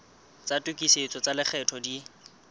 tsa tokisetso tsa lekgetho di